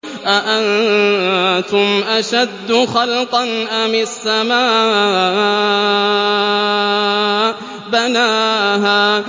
أَأَنتُمْ أَشَدُّ خَلْقًا أَمِ السَّمَاءُ ۚ بَنَاهَا